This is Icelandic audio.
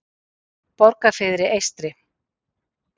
Borgarfirði eystri